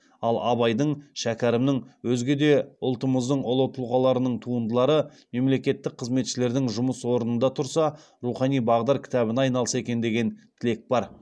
ал абайдың шәкәрімнің өзге де ұлтымыздың ұлы тұлғаларының туындылары мемлекеттік қызметшілердің жұмыс орнында тұрса рухани бағдар кітабына айналса екен деген тілек бар